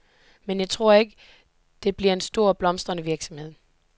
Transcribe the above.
Men jeg tror ikke, det bliver en stor og blomstrende virksomhed.